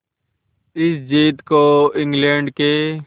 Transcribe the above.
इस जीत को इंग्लैंड के